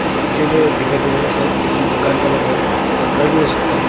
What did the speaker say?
इस पिक्चर में दिखाई दे रहा है शायद किसी दुकान का लग रहा है या घर भी हो सकता है।